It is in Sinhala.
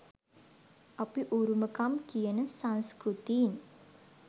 අපි උරුමකම් කියන සංස්කෘතීන්